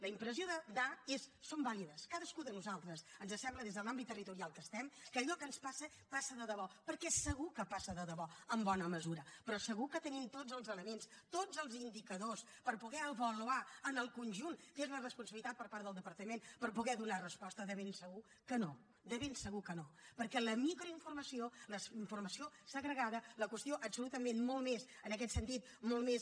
la impressió de és vàlida cadascú de nosaltres ens sembla des de l’àmbit territorial en què estem que allò que ens passa passa de debò perquè segur que passa de debò en bona mesura però segur que tenim tots els elements tots els indicadors per poder avaluar en el conjunt que és la responsabilitat per part del departament per poder donar resposta de ben segur que no de ben segur que no perquè la mircroinformació la informació segregada la qüestió absolutament molt més en aquest sentit molt més